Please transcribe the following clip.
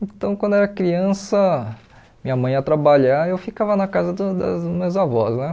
Então, quando eu era criança, minha mãe ia trabalhar e eu ficava na casa da das minhas avós né.